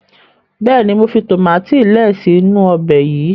béèni mọ fi tomati lẹẹ si inu Ọbẹ̀ yí.